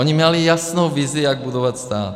Oni měli jasnou vizi, jak budovat stát.